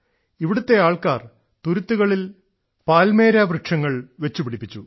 ഇവിടുത്തെ ആൾക്കാർ തുരുത്തുകളിൽ പാൽമേര വൃക്ഷങ്ങൾ വച്ചു പിടിപ്പിച്ചു